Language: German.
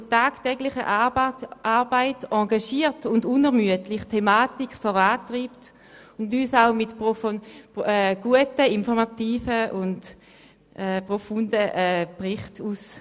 Sie treibt diese Thematik in der tagtäglichen Arbeit engagiert und unermüdlich voran und stattet uns mit guten, informativen und profunden Berichten aus.